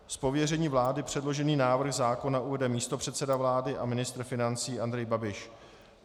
Z pověření vlády předložený návrh zákona uvede místopředseda vlády a ministr financí Andrej Babiš.